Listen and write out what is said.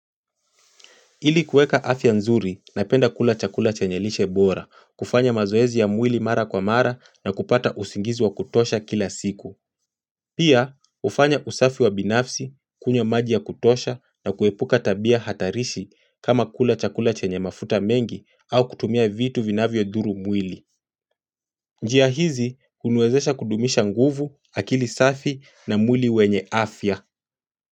Ili kuweka afya nzuri napenda kula chakula chenye lishe bora, kufanya mazoezi ya mwili mara kwa mara na kupata usingizi wa kutosha kila siku. Pia, hufanya usafi wa binafsi, kunywa maji ya kutosha na kuepuka tabia hatarishi kama kula chakula chenye mafuta mengi au kutumia vitu vinavyo dhuru mwili. Njia hizi, huniwezesha kudumisha nguvu, akili safi na mwili wenye afya.